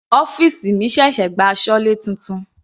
Ọ́fìsì mi ṣẹ̀ṣẹ̀ gba asọlé titun.